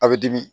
A bɛ dimi